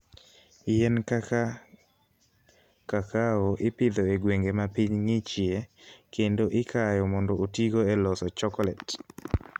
Yien kaka kakao ipidho e gwenge ma piny ng'ichie kendo ikayo mondo otigo e loso chokolet.